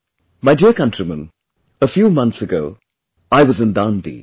My dear countrymen, a few months ago, I was in Dandi